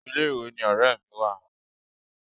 Ilé ìwé ni ọ̀rẹ́ mi wà.